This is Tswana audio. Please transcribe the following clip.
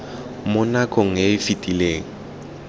mo nakong e e fetileng